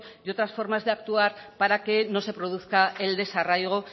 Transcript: y otras formas de actuar para que no se produzca el desarraigo